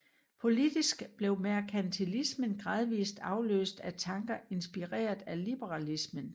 Politisk blev merkantilismen gradvist afløst af tanker inspireret af liberalismen